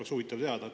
Oleks huvitav teada.